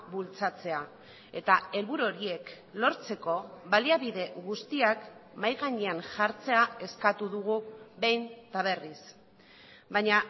bultzatzea eta helburu horiek lortzeko baliabide guztiak mahai gainean jartzea eskatu dugu behin eta berriz baina